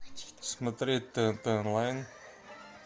смотреть тнт онлайн